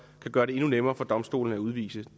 kan gøre det endnu nemmere for domstolene at udvise